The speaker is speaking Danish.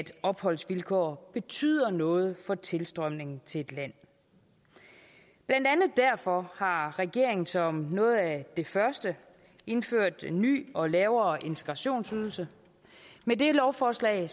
opholdsvilkår betyder noget for tilstrømningen til et land blandt andet derfor har regeringen som noget af det første indført en ny og lavere integrationsydelse med det lovforslag